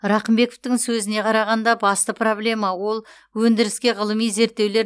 рақымбековтың сөзіне қарағанда басты проблема ол өндіріске ғылыми зерттеулер